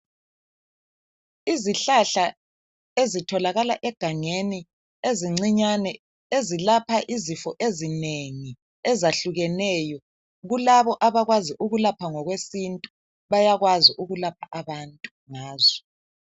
Izihlahla ezitholakala egangeni ezincinyane ezilapha izifo ezinengi ezahlukeneyo. Babo abakwazi ukwelapha ngokwesintu bayakwazi ukulapha abantu ngazo.